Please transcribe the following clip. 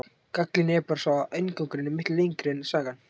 Gallinn er bara sá að inngangurinn er miklu lengri en sagan.